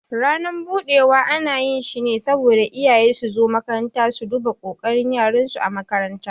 Ranan budewa ana yi shi ne saboda iyaye suzo makaranta su duba kokarin yaran su ã makaranta.